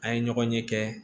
An ye ɲɔgɔn ɲɛ kɛ